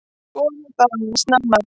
Skoðum það aðeins nánar.